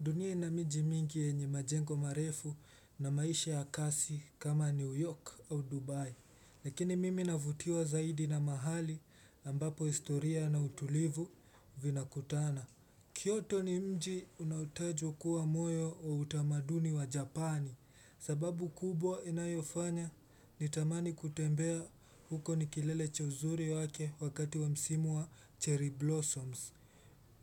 Dunia ina miji mingi yenye majengo marefu na maisha ya kasi kama New York au Dubai. Lakini mimi navutiwa zaidi na mahali ambapo historia na utulivu vinakutana. Kyoto ni mji unaotajwa kuwa moyo wa utamaduni wa Japani. Sababu kubwa inayofanya nitamani kutembea huko ni kilele cha uzuri wake wakati wa msimu wa cherry blossoms.